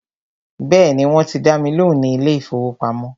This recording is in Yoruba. Bẹ́ẹ̀ni, wọ́n ti dá mi lóhùn ní ilé ìfọwọ́pamo.